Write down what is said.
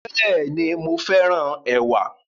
Bẹ́ẹ̀ni, mo féràn ẹ̀wà